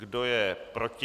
Kdo je proti?